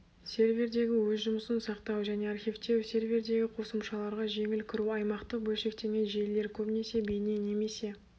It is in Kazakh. сервердегі өз жұмысын сақтау және архивтеу сервердегі қосымшаларға жеңіл кіру аймақтық бөлшектенген желілер көбінесе бейне немесе